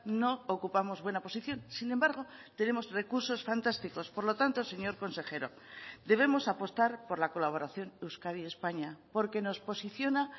no ocupamos buena posición sin embargo tenemos recursos fantásticos por lo tanto señor consejero debemos apostar por la colaboración euskadi españa porque nos posiciona